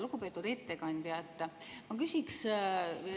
Lugupeetud ettekandja!